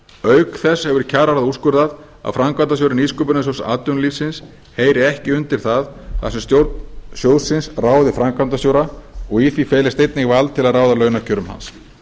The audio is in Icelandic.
auk þess hefur kjararáð úrskurðað að framkvæmdastjóri nýsköpunarsjóðs atvinnulífsins heyri ekki undir það þar sem stjórn sjóðsins ráði framkvæmdastjóra og í því felist einnig vald til að ráða launakjörum hans